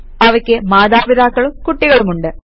അവയ്ക്ക് മാതാപിതാക്കളും കുട്ടികളുമുണ്ട്